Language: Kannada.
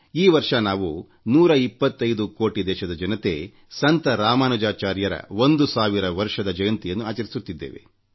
ಈ ವರ್ಷ ನಾವು 125 ಕೋಟಿ ದೇಶದ ಜನತೆ ಸಂತ ರಾಮಾನುಜಾಚಾರ್ಯರ 1೦೦೦ ವರ್ಷದ ಜಯಂತಿಯನ್ನು ಆಚರಿಸುತ್ತಿದ್ದೇವೆ